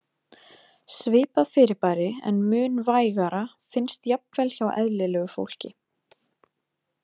Svipað fyrirbæri, en mun vægara, finnst jafnvel hjá eðlilegu fólki.